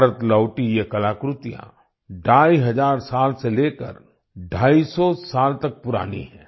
भारत लौटीं ये कलाकृतियाँ ढाई हजार साल से लेकर ढाई सौ साल तक पुरानी हैं